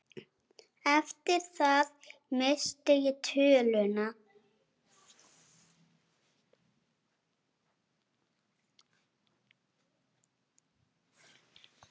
Eftir það missti ég töluna.